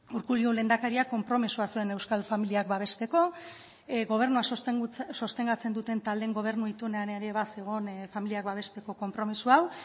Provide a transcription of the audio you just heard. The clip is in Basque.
urkullu lehendakariak konpromisoa zuen euskal familiak babesteko gobernua sostengatzen duten taldeen gobernu itunean ere bazegoen familiak babesteko konpromiso hau